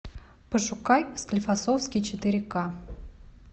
пошукай склифосовский четыре ка